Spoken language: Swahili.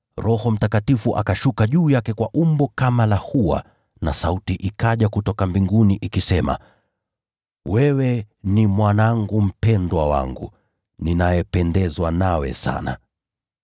Roho Mtakatifu akashuka juu yake kwa umbo kama la hua, nayo sauti kutoka mbinguni ikasema: “Wewe ni Mwanangu mpendwa; nami nimependezwa nawe sana.”